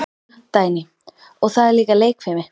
Dagný: Og það er líka leikfimi.